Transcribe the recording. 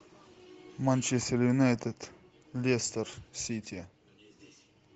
манчестер юнайтед лестер сити